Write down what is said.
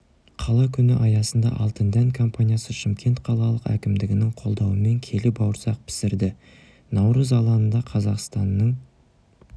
қала күні аясында алтын дән компаниясы шымкент қалалық әкімдігінің қолдауымен келі бауырсақ пісірді наурыз алаңында қазақстанның